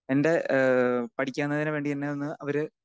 speaker 2 എൻ്റെ ഏഹ് പഠിക്കുന്നതിനു വേണ്ടി എന്നെ ഒന്ന് അവര്